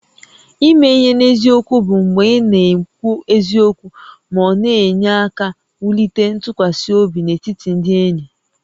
Ime ihe n'eziokwu bụ mgbe ị na-ekwu eziokwu ma ọ na-enye aka wulite ntụkwasị obi n'etiti ndị enyi